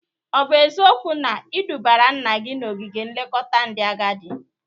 Ọ bụ eziokwu na ị dụbara nna gi n'ogige nlekọta ndị agadị?